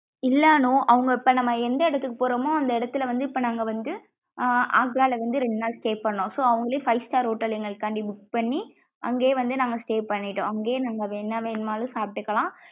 இல்ல அணு அவுங்க இப்போ நம்ம எந்த இடத்துக்கு போறமோ அந்த இடத்துல வந்து இப்போ நாங்க வந்து ஆஹ் ஆக்ரலவந்து ரெண்டு நாள் stay பண்ணோம் so அவுங்களே five star hotel எங்களுக்காண்டி book பண்ணி அங்கயே வந்து நாங்க stay பண்ணிட்டோம் அங்கேயே நம்ம என்ன வேணாலும் சாப்டுக்கலாம்.